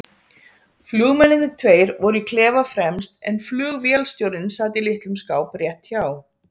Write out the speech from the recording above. Flugmennirnir tveir voru í klefa fremst en flugvélstjórinn sat í litlum skáp rétt hjá